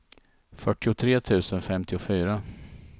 fyrtiotre tusen femtiofyra